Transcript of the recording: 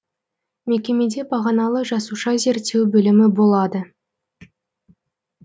мекемеде бағаналы жасуша зерттеу бөлімі болады